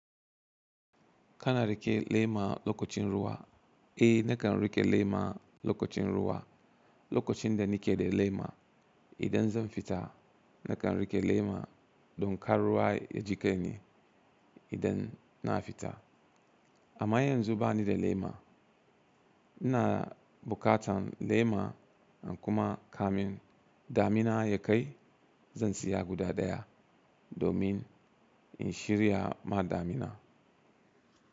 Kana riƙe lema lokacin ruwa? Eh nakan riƙe lema lokacin ruwa, lokacin da nike da lema. Idan zan fita nakan riƙe lema don kar ruwa ya jiƙe ni idan na fita. Amma yanzu bani da lema. Ina buƙatan lema in kuma kamin damina ya kai zan siya guda daya domin in shirya ma damina.